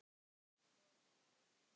Svo er bara að reikna.